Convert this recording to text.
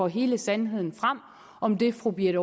hele sandheden frem om det fru birthe